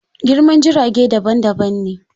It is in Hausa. Girman jirage daban daban ne.